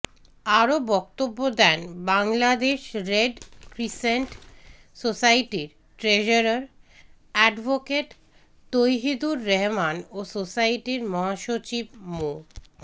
আরও বক্তব্য দেন বাংলাদেশ রেড ক্রিসেন্ট সোসাইটির ট্রেজারার অ্যাডভোকেট তৌহিদুর রহমান ও সোসাইটির মহাসচিব মো